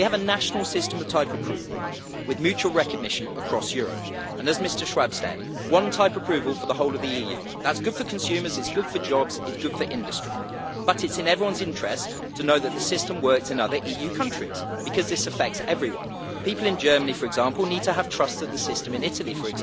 We have a national system of type approval with mutual recognition across Europe and, as Mr Schwab said, one type approval for the whole of the EU. That is good for consumers, it is good for jobs, it is good for industry, but it is in everyone's interests to know that the system works in other EU countries because this affects everyone. People in Germany, for example, need to be confident that the system in Italy, say,